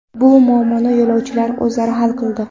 Bu muammoni yo‘lovchilar o‘zlari hal qildi.